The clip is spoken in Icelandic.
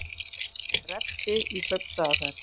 Rebbi í kaupstaðarferð